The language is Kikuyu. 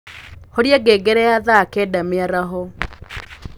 horĩa ngengere ya thaa kenda mĩaraho